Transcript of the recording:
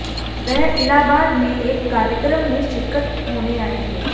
वह इलाहाबाद में एक कार्यक्रम में शिरकत होने आए थे